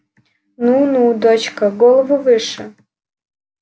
ну ну дочка голову выше